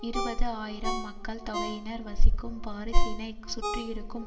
இருபது ஆயிரம் மக்கள் தொகையினர் வசிக்கும் பாரிசினை சுற்றியிருக்கும்